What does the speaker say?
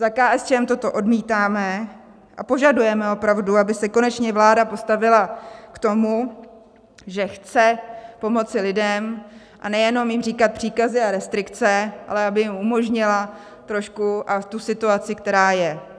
Za KSČM toto odmítáme a požadujeme opravdu, aby se konečně vláda postavila k tomu, že chce pomoci lidem, a nejenom jim říkat příkazy a restrikce, ale aby jim umožnila trošku tu situaci, která je.